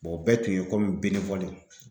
o bɛɛ kun ye